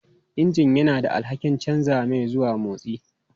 Injin yana da alhakin canza mai zuwa motsi.